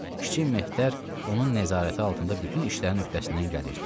Kiçik Mehter onun nəzarəti altında bütün işlərin öhdəsindən gəlirdi.